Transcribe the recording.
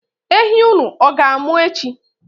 Ehi unu ọ ga-amụ echi?